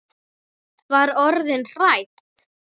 Var orðin hrædd!